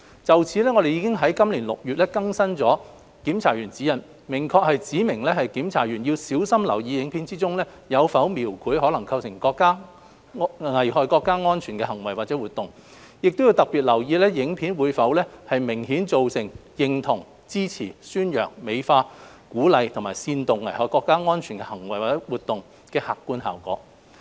就此，我們已於今年6月更新《檢查員指引》，明確指明檢查員要小心留意影片中有否描繪可能構成危害國家安全的行為或活動，亦要特別留意影片會否明顯造成認同、支持、宣揚、美化、鼓勵或煽動危害國家安全的行為或活動的客觀效果。